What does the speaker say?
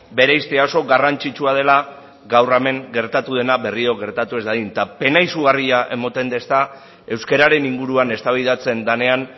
bereiztea oso garrantzitsua dela gaur hemen gertatu dena berriro gertatu ez dadin pena izugarria ematen dit euskararen inguruan eztabaidatzen denean